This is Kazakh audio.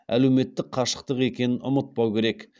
әлеуметтік қашықтық екенін ұмытпау керек